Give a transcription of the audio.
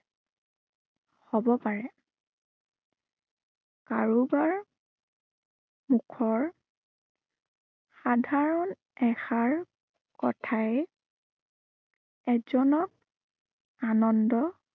হব পাৰে। কাৰোবাৰ মুখৰ সাধাৰণ এষাৰ, কথাই এজনক আনন্দ